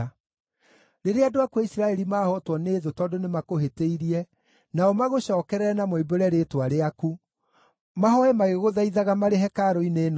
“Rĩrĩa andũ aku a Isiraeli maahootwo nĩ thũ tondũ nĩmakũhĩtĩirie nao magũcookerere na moimbũre rĩĩtwa rĩaku, mahooe magĩgũthaithaga marĩ hekarũ-inĩ ĩno-rĩ,